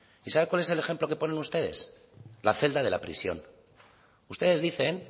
sabe cuál es el ejemplo que ponen ustedes la celda de la prisión ustedes dicen